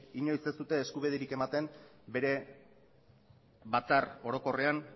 inoiz ez dute eskubiderik ematen bere batzar orokorrean